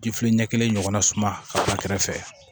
ɲɛ kelen ɲɔgɔnna suma ka ban kɛrɛ fɛ